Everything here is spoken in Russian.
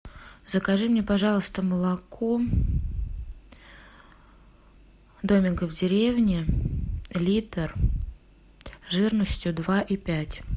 закажи мне пожалуйста молоко домик в деревне литр жирностью два и пять